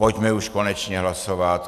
Pojďme už konečně hlasovat.